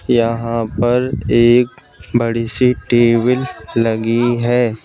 यहां पर एक बड़ी सी टेबल लगी है।